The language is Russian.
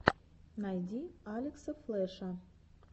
найди алекса флеша